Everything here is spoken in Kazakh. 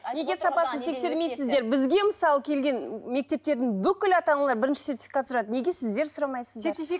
неге сапасын тексермейсіздер бізге мысалы келген мектептердің бүкіл ата аналары бірінші сертификат сұрайды неге сіздер сұрамайсыздар